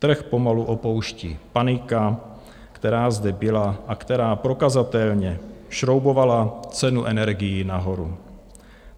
Trh pomalu opouští panika, která zde byla a která prokazatelně šroubovala cenu energií nahoru.